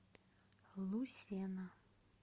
лусена